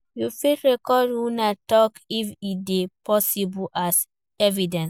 You fit record una talk if e de possible as evidence